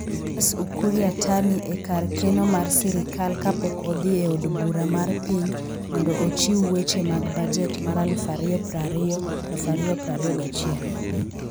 CS Ukur Yatani e kar keno mar sirkal kapok odhi e Od Bura mar Piny mondo ochiw weche mag bajet mar 2020/2021.